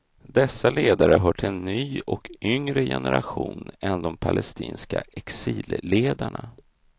Dessa ledare hör till en ny och yngre generation än de palestinska exilledarna.